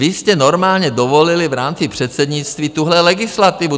Vy jste normálně dovolili v rámci předsednictví tuhle legislativu.